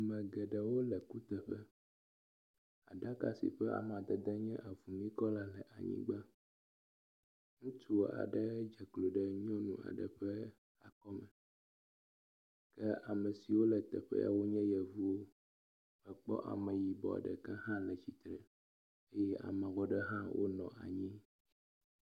Ame geɖewo le kuteƒe. Ɖaka si ƒe amadede nye avumikɔla le anyigba. Ŋutsu aɖe dze klo ɖe nyɔnu aɖe ƒe akɔ nu. Ke ame siwo le teƒea nye yevuwo. Akpɔ ameyibɔ ɖeka hã le tsitre eye ameyibɔ ɖe hã wonɔ anyi.